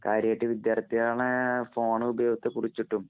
കാര്യായിട്ട് വിദ്യാര്‍ത്ഥികളുടെ ഫോണ്‍ ഉപയോഗത്തെ കുറിച്ചിട്ടും,